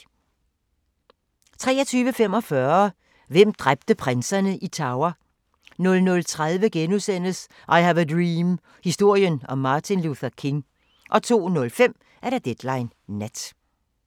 23:45: Hvem dræbte prinserne i Tower? 00:30: I have a dream – historien om Martin Luther King * 02:05: Deadline Nat